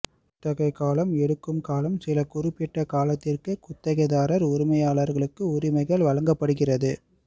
குத்தகை காலம் எடுக்கும் காலம் சில குறிப்பிட்ட காலத்திற்கு குத்தகைதாரர் உரிமையாளர்களுக்கு உரிமைகள் வழங்கப்படுகிறது